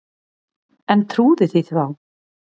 En trúði því þá.